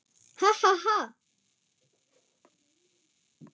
Ha, ha, ha!